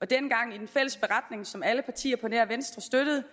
dengang med en fælles beretning som alle partier på nær venstre støttede